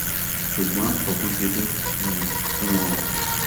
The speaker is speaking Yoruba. ṣùgbọn òpin ti dé um fún wọn o